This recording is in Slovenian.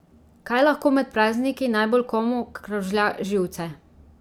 Kaj lahko med prazniki najbolj komu kravžlja živce?